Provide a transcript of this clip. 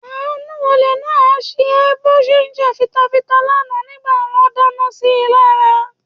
Àánú olè náà á ṣe ẹ́ bó ṣe ń jà fitata lánàá nígbà wọ́n dáná si lára.